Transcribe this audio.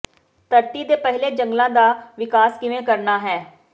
ਧਰਤੀ ਦੇ ਪਹਿਲੇ ਜੰਗਲਾਂ ਦਾ ਵਿਕਾਸ ਕਿਵੇਂ ਕਰਨਾ ਹੈ